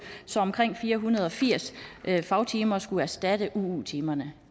så omkring fire hundrede og firs fagtimer skulle erstatte uu timerne